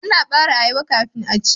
Ana bare ayaba kafin a ci.